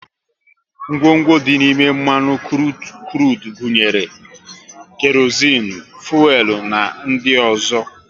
Ngwongwo dị n'ime mmanụ krudu gunyere; kerozinu, fuelu na ndị ọzọ